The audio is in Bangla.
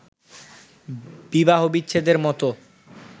বিবাহবিচ্ছেদের মত